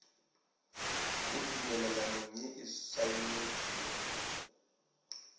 mo tumelelanong ye e saenetšwego